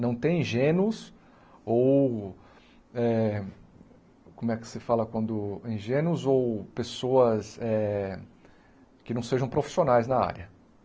Não tem ingênuos ou... eh como é que se fala quando... ingênuos ou pessoas eh que não sejam profissionais na área.